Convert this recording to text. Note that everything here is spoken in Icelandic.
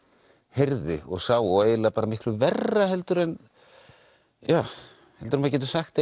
heyrði og sá og eiginlega miklu verra heldur en maður getur sagt